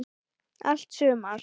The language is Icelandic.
Allt sumar